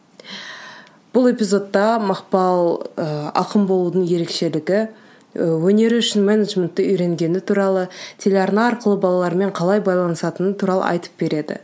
бұл эпизодта мақпал ы ақын болудың ерекшелігі і өнері үшін менеджментті үйренгені туралы телеарна арқылы балалармен қалай байланысатыны туралы айтып береді